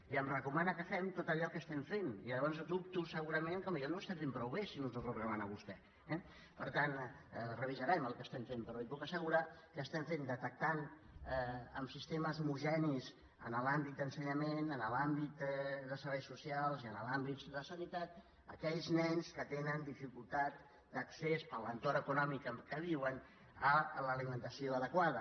i em recomana que fem tot allò que estem fent llavors dubto segurament que potser no ho estem fent prou bé si no ens ho recomana vostè eh per tant revisarem el que estem fent però li puc assegurar que estem detectant amb sistemes homogenis en l’àmbit d’ensenyament en l’àmbit de serveis socials i en l’àmbit de sanitat aquells nens que tenen dificultats d’accés per l’entorn econòmic en què viuen a l’alimentació adequada